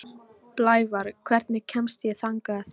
Blævar, hvernig kemst ég þangað?